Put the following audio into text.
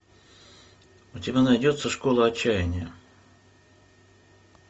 у тебя найдется школа отчаяния